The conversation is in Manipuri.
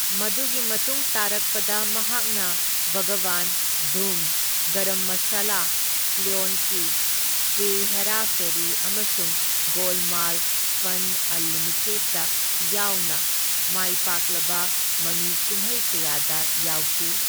ꯃꯗꯨꯒꯤ ꯃꯇꯨꯡ ꯇꯥꯔꯛꯄꯗ ꯃꯍꯥꯛ ꯕꯥꯘꯕꯥꯟ, ꯙꯨꯝ, ꯒꯔꯝ ꯃꯁꯥꯂꯥ, ꯀ꯭ꯌꯣꯟ ꯀꯤ, ꯐꯤꯔ ꯍꯦꯔꯥ ꯐꯦꯔꯤ ꯑꯃꯁꯨꯡ ꯒꯣꯜꯃꯥꯜ ꯐꯟ ꯑꯟꯂꯤꯃꯤꯇꯦꯗ ꯌꯥꯎꯅ ꯃꯥꯏꯄꯥꯛꯂꯕ ꯃꯃꯤ ꯀꯨꯝꯍꯩ ꯀꯌꯥꯗ ꯌꯥꯎꯈꯤ꯫